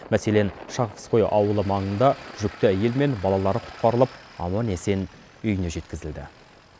мәселен шахавское ауылы маңында жүкті әйел мен балалары құтқарылып аман есен үйіне жеткізілді